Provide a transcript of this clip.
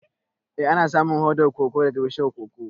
Eh ana samun hodar koko ne daga bishiyar "Cocoa".